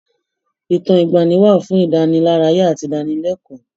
Ìtàn ìgbaanì wà fún ìdánilárayá àti ìdánilẹ́kọ̀ọ́.